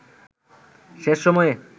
শেষ সময়ে